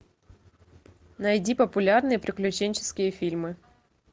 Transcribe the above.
найди популярные приключенческие фильмы